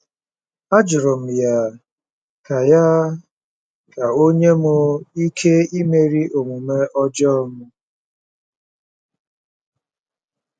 Ajụrụ m ya ka ya ka o nye m ike imeri omume ọjọọ m.